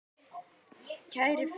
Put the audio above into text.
Kæri félagi.